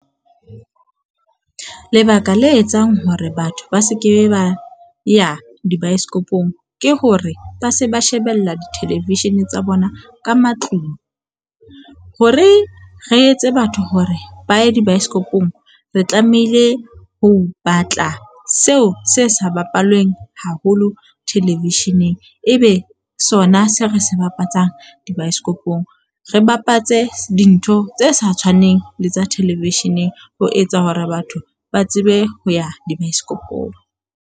Lebaka le etsang hore batho ba se ke ba ya dibaesekopong ke hore ba se ba shebella di-television tsa bona ka matlung. Hore re etse batho hore ba ye dibaesekopong, re tlamehile ho batla seo se sa bapallweng haholo television-eng ebe sona se re se bapatsang dibaesekopong. Re bapatse dintho tse sa tshwaneng le tsa relevision-eng. Ho etsa hore batho ba tsebe ho ya dibaesekopong.